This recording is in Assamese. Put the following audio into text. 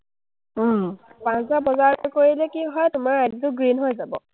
পাঁচ হাজাৰ বজাৰটো কৰিলে কি হয়, তোমাৰ ID টো green হৈ যাব।